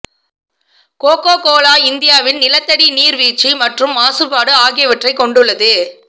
cocoa Cola இந்தியாவில் நிலத்தடி நீர் வீழ்ச்சி மற்றும் மாசுபாடு ஆகியவற்றைக் கொண்டுள்ளது